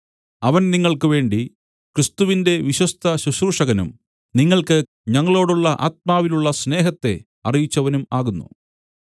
അവൻ നിങ്ങൾക്ക് വേണ്ടി ക്രിസ്തുവിന്റെ വിശ്വസ്ത ശുശ്രൂഷകനും നിങ്ങൾക്ക് ഞങ്ങളോടുള്ള ആത്മാവിലുള്ള സ്നേഹത്തെ അറിയിച്ചവനും ആകുന്നു